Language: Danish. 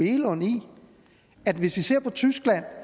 egelund i at hvis vi ser på tyskland